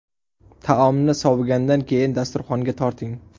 Taomni sovigandan keyin dasturxonga torting.